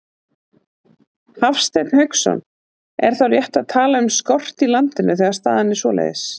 Hafsteinn Hauksson: Er þá rétt að tala um skort í landinu, þegar staðan er svoleiðis?